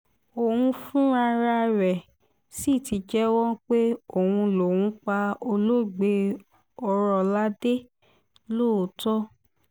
òun fúnrara rẹ̀ sì ti jẹ́wọ́ pé òun lòún pa olóògbé ọrọ̀ládé lóòótọ́